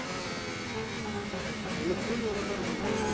என்ன peon வேலைதான் இருக்கும் அங்க